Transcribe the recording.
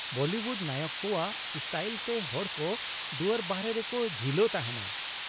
Bollywood ᱱᱟᱭᱚᱠ ᱠᱚᱣᱟᱜ style ᱛᱮ ᱦᱚᱲ ᱠᱚ ᱫᱩᱣᱟᱹᱨ ᱵᱟᱦᱚᱨᱮ ᱨᱮᱠᱚ ᱡᱷᱤᱞᱳ ᱛᱟᱦᱮᱱᱟ ᱾